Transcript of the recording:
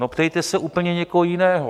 No ptejte se úplně někoho jiného.